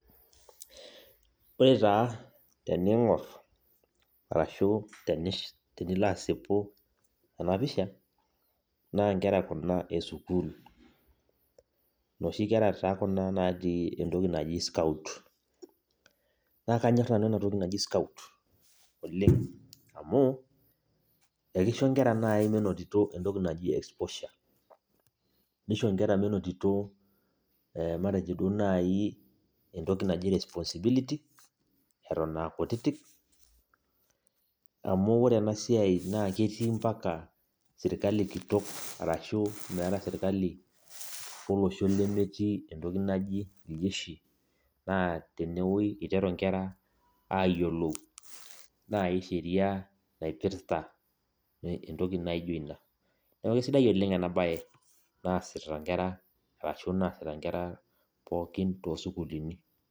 Ore taa teneing'or ashuu tenilo asipu ena pisha naa ingera kuna e school naatii enoshitoki naji scout naa kanyor nanu ena toki naji scout amu ekisho ingera menotito naaji entoki naji exposure naisho ingera menotito entoki naji responsibility etoon aa kutitim amu ore ena siai naa ketii ompaka serkali kitok arashuu meeta serkali olosho nemetii entoki naji iljedhi naa tenewueji eiteru inkera ayiolou naaji Sheria naipirta entoki naijo ina neeku isidai ena baye naasita ingera toosukuulini.